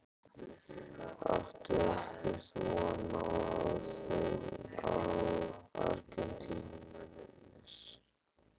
Áttu ekkert von á að þeir komi Argentínumennirnir?